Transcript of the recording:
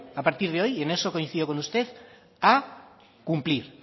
a partir de hoy y en eso coincido con usted a cumplir